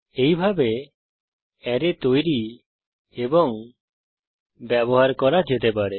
এইভাবে অ্যারে তৈরি এবং ব্যবহার করা যেতে পারে